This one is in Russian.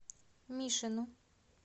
мишину